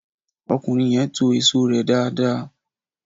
Ọkùnrin yẹn to èso rẹ dáadáa